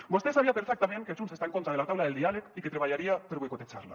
vostè sabia perfectament que junts està en contra de la taula del diàleg i que treballaria per boicotejar la